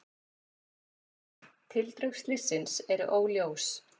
Tildrög slyssins eru óljós.